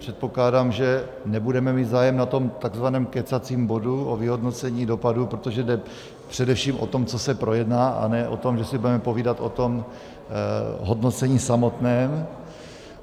Předpokládám, že nebudeme mít zájem na tom tzv. kecacím bodu o vyhodnocení dopadů, protože jde především o to, co se projedná, a ne o to, že si budeme povídat o tom hodnocení samotném.